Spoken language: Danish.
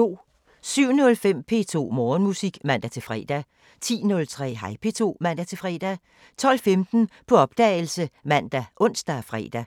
07:05: P2 Morgenmusik (man-fre) 10:03: Hej P2 (man-fre) 12:15: På opdagelse ( man, ons, fre)